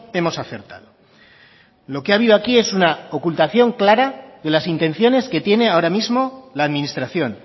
hemos acertado lo que ha habido aquí es una ocultación clara de las intenciones que tiene ahora mismo la administración